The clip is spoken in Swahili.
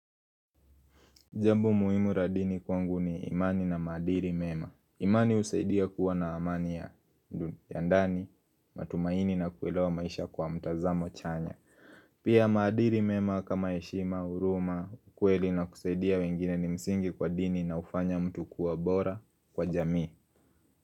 Jambu muimu radini kwangu ni imani na madiri mema imani usaidia kuwa na amania ya ndani, matumaini na kuwela wa maisha kwa mtazamo chanya. Pia madiri mema kama eshima, uruma, ukweli na kusaidia wengine ni msingi kwa dini na ufanya mtu kuwa bora kwa jamii.